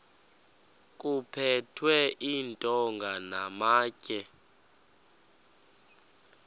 kuphethwe iintonga namatye